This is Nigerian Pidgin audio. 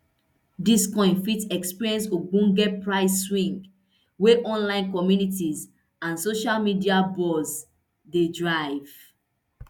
dis coin fit experience ogbonge price swing wey online communities and social media buzz dey drive